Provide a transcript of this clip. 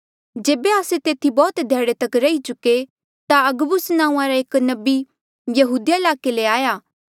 जेबे आस्से तेथी बौह्त ध्याड़े तक रही चुके ता अगबुस नांऊँआं रा एक नबी यहूदिया ईलाके ले आया